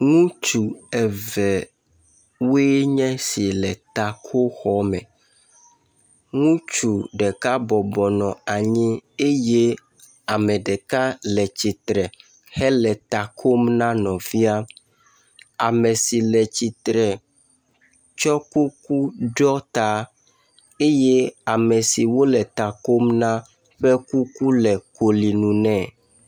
Ŋutsu evewoe nye esi le takoxɔ me, ŋutsu ɖeka bɔbɔ nɔ anyi eye ame ɖeka le tsitre hele ta kom na nɔvia. Ame si le tsitre tsɔ kuku ɖɔ ta eye ame si wole ta kom na ƒe kuku le koli nu nɛ.